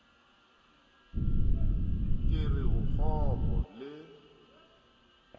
ke re o kgopo le